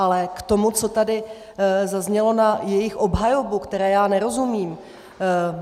Ale k tomu, co tady zaznělo na jejich obhajobu, které já nerozumím.